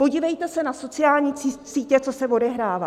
Podívejte se na sociální sítě, co se odehrává.